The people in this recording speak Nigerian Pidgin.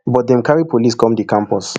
but dem carry police come di campus